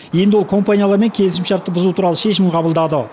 енді ол компаниялармен келісімшартты бұзу туралы шешім қабылдады